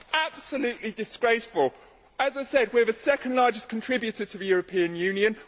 Absolutely disgraceful! As I said, we are the second largest contributor to the European Union